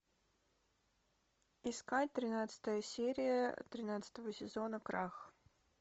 искать тринадцатая серия тринадцатого сезона крах